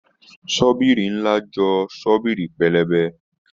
Shọ́bìrì ńlá jọ Shọ́bìrì pẹlẹbẹ